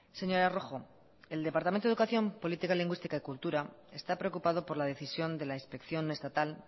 señora rojo el departamento de educación política lingüística y cultura está preocupado por la decisión de la inspección estatal